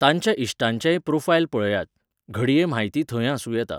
तांच्या इश्टांचेय प्रोफायल पळयात. घडये म्हायती थंय आसुं येता.